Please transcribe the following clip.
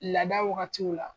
Laada wagatiw la